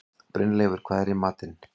Brynleifur, hvað er í matinn?